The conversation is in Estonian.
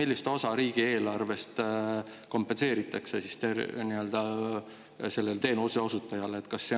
Kui suur osa riigieelarves kompenseeritakse teenuseosutajale?